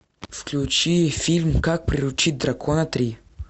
включи фильм как приручить дракона три